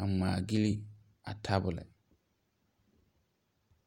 a ngmaagili a tabol.